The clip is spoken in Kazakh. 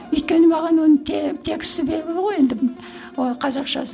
өйткені маған оның тексті белгілі ғой енді қазақшасы